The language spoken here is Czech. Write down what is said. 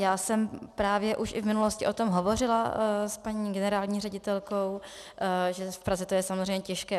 Já jsem právě už i v minulosti o tom hovořila s paní generální ředitelkou, že v Praze to je samozřejmě těžké.